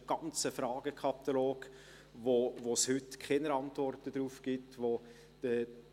Das ist ein ganzer Fragenkatalog, auf den es heute keine Antworten gibt, wofür